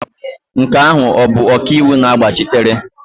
Nke ahụ ọ bụ ọkaiwu na-agbachitere?